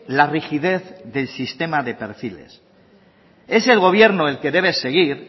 la rigidez del sistema de perfiles es el gobierno el que debe seguir